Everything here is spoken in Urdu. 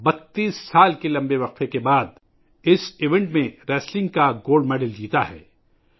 انہوں نے 32 سال کے طویل وقفے کے بعد اس ایونٹ میں ریسلنگ کا گولڈ میڈل جیتا ہے